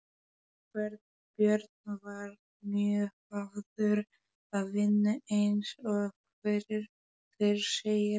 Björn var mjög hafður að vinnu eins og fyrr segir.